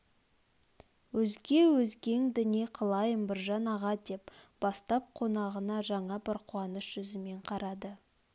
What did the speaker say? өзге өзгеңді не қылайын біржан аға деп бастап қонағына жаңа бір қуаныш жүзімен қарады